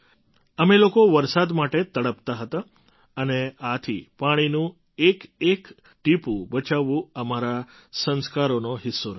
અમે લોકો વરસાદ માટે તડપતા હતા અને આથી પાણીનું એકએક ટીપું બચાવવું અમારા સંસ્કારોનો હિસ્સો રહ્યો છે